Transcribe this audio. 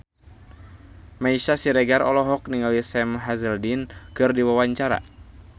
Meisya Siregar olohok ningali Sam Hazeldine keur diwawancara